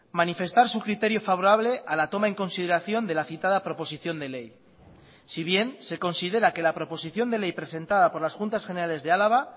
manifestar su criterio favorable a la toma en consideración de la citada proposición de ley si bien se considera que la proposición de ley presentada por las juntas generales de álava